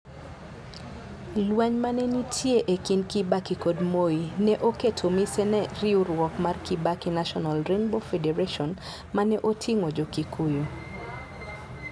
Lweny ma ne nitie e kind Kibaki kod Moi, ne oketo mise ne riwruok mar Kibaki National Rainbow Federation, ma ne oting'o Jo-Kikuyu.